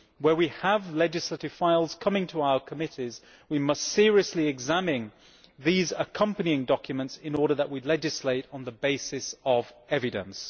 When legislative files come to our committees, we must seriously examine these accompanying documents to ensure that we legislate on the basis of evidence.